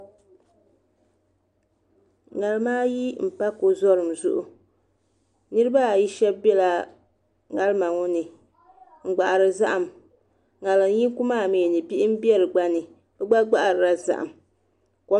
ŋarima ayi n pa ko zorim zuɣu niraba ayi shab biɛla ŋarima ŋo ni n gbahari zaham ŋarim yinga maa mii ni bihi n bɛ di gba ni bi gba gbaharila zaham